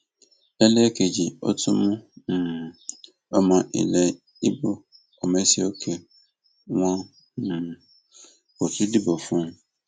lélẹẹkejì ó tú mú um ọmọ ilẹ ibo ọmèsìókè wọn um kó tún dìbò fún un